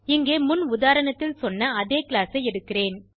இங்கே முன் உதாரணத்தில் சொன்ன அதே கிளாஸ் ஐ எடுக்கிறேன்